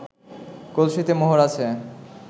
কলসিতে মোহর আছে